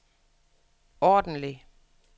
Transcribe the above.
ordentlig